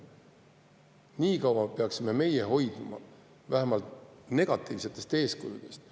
Niikaua peaksime me hoiduma vähemalt negatiivsetest eeskujudest.